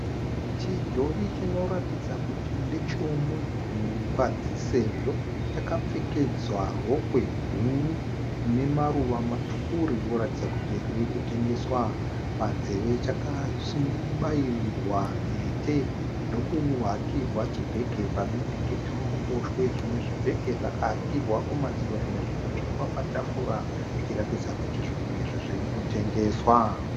Chidhori chinoratidza kuti ndechemunhukadzi sezvo chakapfekedzwa rokwe guru rine maruva matsvuku rinoratidza kuti riri kutengeswa. Panzeve chakabairirwa mhete ndokuhakirwa chibhege pabendekete roruboshwe. Zvimwe zvibhege zvakahakirwa kumadziro zvimwe zvikatsvetwa patafura zvichiratidza kuti zvinhu izvi zviri kutengeswa.